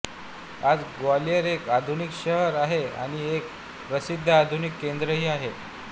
आज ग्वालियर एक आधुनिक शहर आहे आणि एक प्रसिद्ध औद्योगिक केन्द्र ही आहे